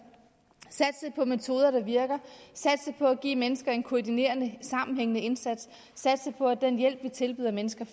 satse på metoder der virker satse på at give mennesker en koordineret sammenhængende indsats satse på at den hjælp vi tilbyder mennesker